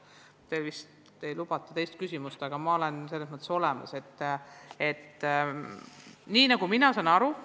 Teile vist ei lubata teist küsimust, aga ma olen valmis teile eraldi veelgi vastama.